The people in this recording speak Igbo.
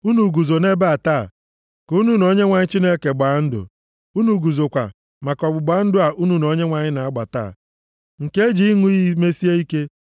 Unu guzo nʼebe a taa ka unu na Onyenwe anyị Chineke gbaa ndụ. Unu guzokwa, maka ọgbụgba ndụ a unu na Onyenwe anyị na-agba taa, nke e ji ịṅụ iyi mesie ike,